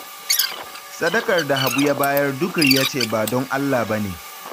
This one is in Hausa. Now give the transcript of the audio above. Sadakar da Habu ya bayar duk riya ce ba don Allah ba ne